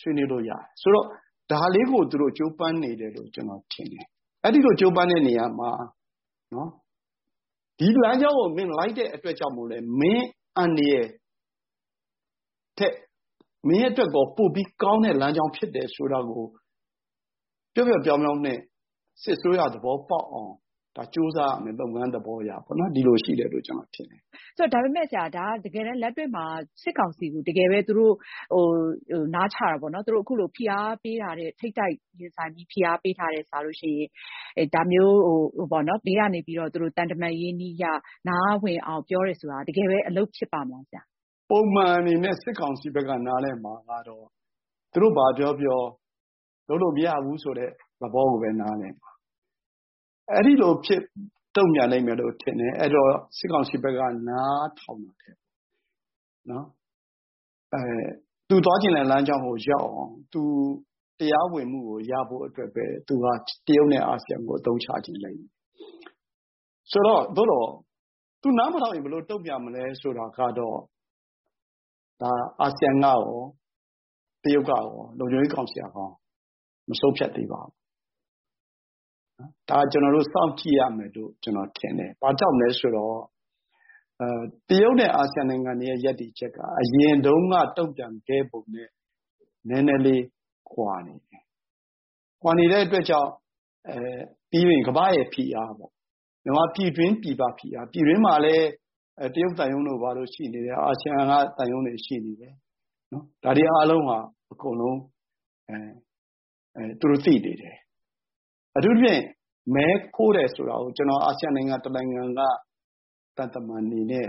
ဆွေးနွေးလို့ရတယ်။ ဆိုတော့ ဒါလေးကို ကြိုးပမ်းနေတယ်လို့ ကျနော်ထင်တယ်။ အဲဒီလို ကြိုးပမ်းတဲ့နေရာမှာ ဒီလမ်းကြောင်းကို လိုက်တဲ့အတွက်ကြောင့်မို့လည်း မင်းအန္တရာယ်ထက် မင်းအတွက် ပိုပြီးကောင်းတဲ့ လမ်းကြောင်းဖြစ်တယ်ဆိုတာကို ပျော့ပျော့ပျောင်းပျောင်းနဲ့ စစ်အစိုးရ သဘောပေါက်အောင် ကြိုးစားရမယ် လုပ်ငန်းသဘောအရပေါ့နော် ဒီလိုရှိတယ်လို့ ကျနော်ထင်တယ်။ ဒါပေမယ့်ဆရာ တကယ့်လက်တွေ့မှာ စစ်ကောင်စီကို နားချတာပေါ့နော် ဖိအားပေးင် ထိပ်တိုက်ရင်ဆိုင်တာထက်စာရင် ဘေးကနေပြီးတော့ သံတမန်နည်းအရ နားဝင်အောင် ပြောတာက တကယ်ပဲ အလုပ်ဖြစ်ပါ့မလား။ ပုံမှန်အနေနဲ့ စစ်ကောင်စီဘက်က နားလည်မှာကတော့ သူတို့ဘာပြောပြော လုပ်လို့မရဘူးဆိုတဲ့ သဘောကိုပဲ နားလည်မှာ အဲဒီလိုတုံ့ပြန်လိမ့်မယ်လို့ထင်တယ်။ အဲဒီတော့ စစ်ကောင်စီက သူသွားချင်တဲ့ လမ်းကြောင်းကို ရောက်အောင် သူတရားဝင်မှုကို ရဖို့အတွက်ပဲ သူက တရုတ်နဲ့ အာဆီယံကို အသုံးချခြင်းပဲ ။ ဆိုတော့ သူနားမထောင်ရင် ဘယ်လိုတုံ့ပြန်မလဲ ဆိုတာကတော့ အာဆီယံကရော တရုတ်ကရော ၊ လုံခြုံရေးကောင်စီကရော မဆုံးဖြတ်သေးပါဘူး။ ဒါက ကျနော်တို့ စောင့်ကြည့်ရမယ်လို့ ကျနေ်ာထင်တယ်။ ဘာကြောင့်လဲဆိုတော့ တရုတ်နဲ့ အာဆီယံနိုင်ငံတွေရဲ ရပ်တည်ချက်က အရင်တုန်းက တုံ့ပြန်ခဲ့ပုံနဲ့ နည်းနည်းလေး ကွာနေတယ်။ ကွာနေတဲ့အတွက်ကြောင့် ကမ္ဘာ့ဖိအား မြန်မာပြည်တွင်းပြည်ပဖိအား ၊ ပြည်တွင်းမှာလည်း တရုတ်သံရုံးတို့ဘာတို့ရှိတယ်၊ အာဆီယံ သံရုံးတွေ ရှိနေတယ်။ ဒါတွေအားလုံးဟာ အကုန်လုံး သူတို့ သိနေတယ်။ အထူးသဖြင့် မဲခိုးတယ်ဆိုတာကို အာဆီယံ နိုင်ငံ တနိုင်ငံက သံတမန်တွေနဲ့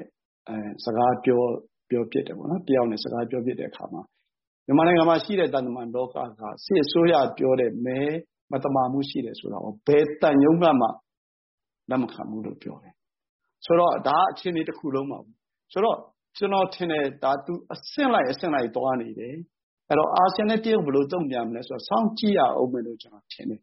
စကားပြောဖြစ်တယ်ပေါ့နော် တယောက်နဲ့ ။ အဲလို စကားပြောဖြစ်တဲ့အခါမှာ မြန်မာနိုင်ငံမှာရှိတဲ့ သံတမန်လောက က စစ်အစိုးရပြောတဲ့ မဲမသမာမှုရှိတယ်ဆိုတာကို ဘယ်သံရုံးကမှ လက်မခံဘူးလို့ ပြောတယ်။ ဒါက အခြေအနေတခုလုံးပါပဲ ဆိုတော့ကျနော်ထင်တယ် သူ အဆင့်လိုက်အဆင့်လိုက် သွားနေတယ် ။ အဲဒီတော့ အာဆီယံနဲ့ တရုတ်ဘယ်လိုတုံ့ပြန်မလဲဆိုတာ စောင့်ကြည့်ရဦးမယ်လို့ ကျနော်ထင်တယ်